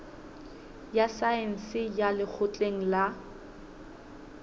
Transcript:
ya saense ya lekgotleng la